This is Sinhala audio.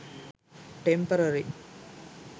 temporary